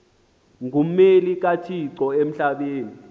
ngummeli kathixo emhlabeni